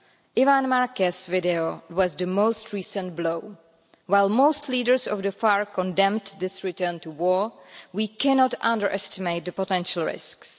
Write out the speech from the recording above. Iván Márquez's video was the most recent blow. While most leaders of the FARC condemned this return to war, we cannot underestimate the potential risks.